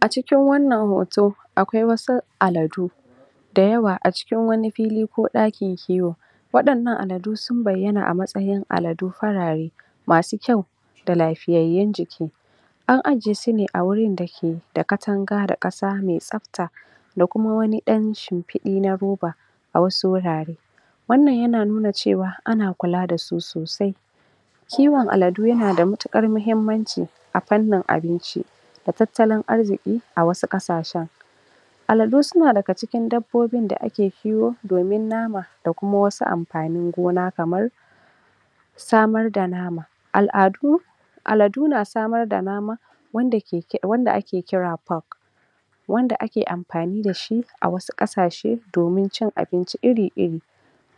A cikin wannan hoto akwai wasu aladu da yawa a cikin wani fili ko ɗakin kiwo waɗannan aladu sun bayyana a matsayin aladu farare masu kyau da lafiyayyun jiki an ajiye su ne a wurin da ke da katanga da ƙasa me tsabta da kuma wani ɗan shimfiɗi na roba a wasu wurare wannan yana nuna cewa ana kula da su sosai kiwon aladu yana da matuƙar mahimmanci a fannin abinci da tattalin arziƙi a wasu ƙasashen aladu suna daga cikin dabbobin da ake kiwo domin nama da kuma wasu amfanin gona kamar samar da nama. Al'adu aladu na samar da nama wanda ake kira pork wanda ake amfani da shi a wasu ƙasashe domin cin abinci iri-iri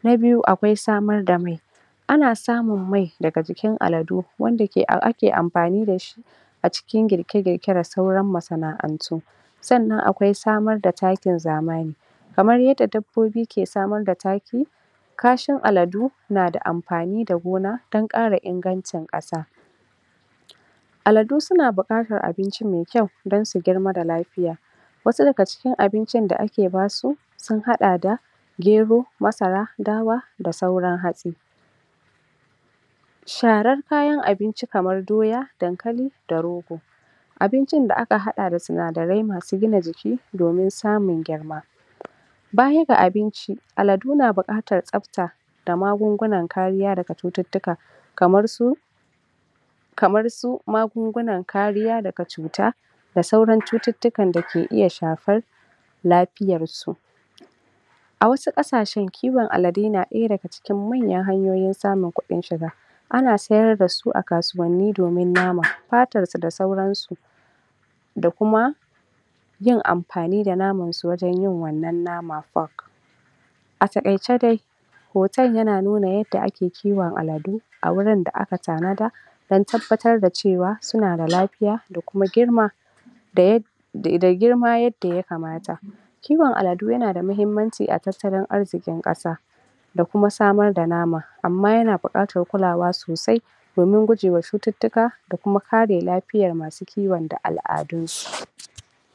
na biyu akwai samar da mai ana samun mai daga jikin aladu wanda ake amfani da shi a cikin girke-girke da sauran masana'antu sannan akwai samar da takin zamani kamar yadda dabbobi ke samar da taki kashin aladu na da amfani da gona dan ƙara ingancin ƙasa aladu suna buƙatar abinci me kyau dan su girma da lafiya wasu daga cikin abincin da ake basu sun haɗa da gero, masara, dawa da sauran hatsi sharar kayan abinci kamar doya, dankali da rogo abincin da aka haɗa da sinadarai masu gina jiki domin samun girma baya ga abinci aladu na buƙatar tsabta da magungunan kariya daga cututtuka kamar su kamar su magungunan kariya daga cuta da sauran cututtukan da ke iya shafar lafiyar su a wasu ƙasashen kiwon aladu na ɗaya daga cikin manyan hanyoyin samun kuɗin shiga ana sayar da su a kasuwanni domin nama, fatar su da sauran su da kuma yin amfani da naman su wajen yin wannan nama pork a taƙaice dai hoton yana nuna yadda ake kiwon aladu a wurin da aka tanada dan tabbatar da cewa suna da lafiya da kuma girma da yadda idan girma yadda yakamata kiwon aladu yana da mahimmanci a tattalin arzikin ƙasa da kuma samar da nama amma yana buƙatar kulawa sosai domin gujewa cututtuka da kuma kare lafiyan masu kiwon da al'adun su.